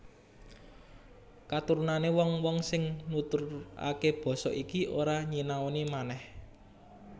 Katurunané wong wong sing nuturaké basa iki ora nyinaoni manèh